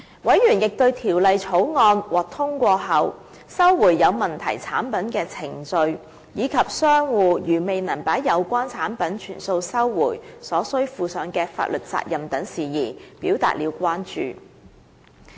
委員亦對在《條例草案》獲通過後，收回有問題產品的程序，以及商戶如未能把有關產品全數收回，因而要負上的法律責任等事宜表示關注。